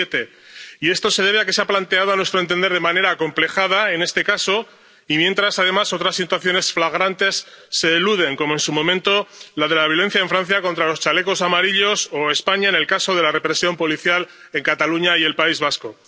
7. Y esto se debe a que se ha planteado, a nuestro entender, de manera acomplejada, en este caso, y mientras, además, otras situaciones flagrantes se eluden, como, en su momento, la de la violencia en Francia contra los chalecos amarillos o, en España, la de la represión policial en Cataluña y el País Vasco.